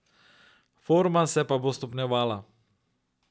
Forma se pa bo stopnjevala.